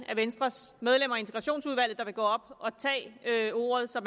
af venstres medlemmer af integrationsudvalget der vil gå op og tage ordet så